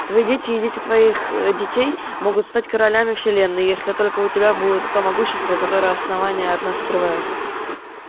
твои дети и дети твоих детей могут стать королями вселенной если только у тебя будет то могущество которое основание от нас скрывает